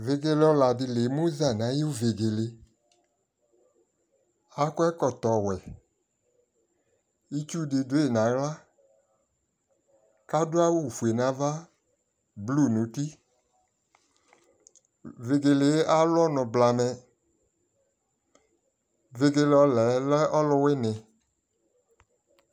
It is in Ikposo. ɛvidzɛ di la ɛmʋzati nʋayʋ vɛgɛlɛ, akɔ ɛkɔtɔ wɛ, itsʋ di dʋ yi nʋ ala ka adʋ awʋ ƒʋɛ nʋ ala, blʋe nʋ ʋti, vɛgɛlɛ alʋ ɔnʋ blamɛ, vɛgɛlɛ ɔlɛ lɛ ɔlʋwini